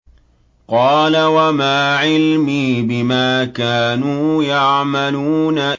قَالَ وَمَا عِلْمِي بِمَا كَانُوا يَعْمَلُونَ